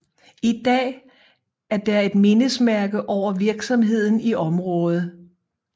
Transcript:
I dag er der et mindesmærke over virksomheden i området